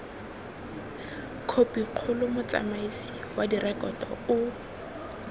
khopikgolo motsamaisi wa direkoto o